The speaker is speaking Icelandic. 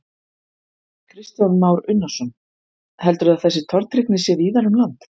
Kristján Már Unnarsson: Heldurðu að þessi tortryggni sé víðar um land?